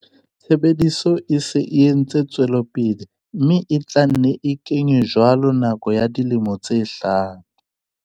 Tshebediso e se e ntse e tswela pele mme e tla nne e ke nywe jwalo ka nako ya dilemo tse hlano.